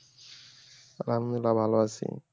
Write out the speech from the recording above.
আলহামদুলিল্লাহ ভালো আছি।